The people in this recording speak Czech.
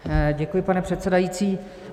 Děkuji, pane předsedající.